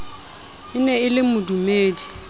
e ne e le modumedi